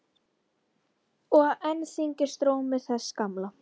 Og enn þyngdist rómur þess gamla.